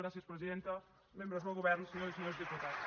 gràcies presidenta membres del govern senyores i senyors diputats